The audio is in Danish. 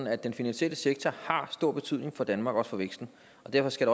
at den finansielle sektor har stor betydning for danmark også for væksten og derfor skal